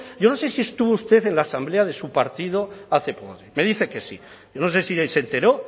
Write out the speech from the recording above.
yo no sé si estuvo usted en la asamblea de su partido hace poco me dice que sí yo no sé si ahí se enteró